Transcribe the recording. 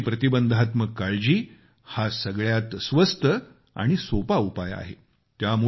आरोग्याची प्रतिबंधात्मक काळजी हा सगळ्यात स्वस्त आणि सोपा उपाय आहे